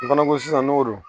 O fana ko sisan n'o don